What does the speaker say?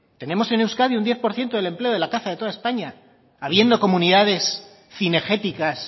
tenemos en euskadi un diez por ciento del empleo de la caza de toda españa habiendo comunidades cinegéticas